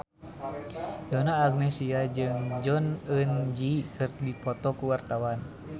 Donna Agnesia jeung Jong Eun Ji keur dipoto ku wartawan